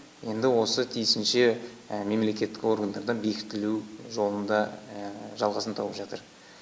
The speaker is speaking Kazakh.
енді осы тиісінше мемлекеттік органдарда бекітілу жолында жалғасын тауып жатыр